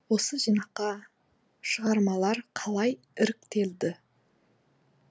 осы жинаққа шығармалар қалай іріктелді